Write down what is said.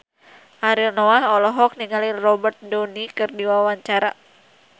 Ariel Noah olohok ningali Robert Downey keur diwawancara